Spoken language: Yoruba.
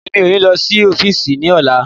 Mi ó ní lo sí ọ́físì ní ọ̀la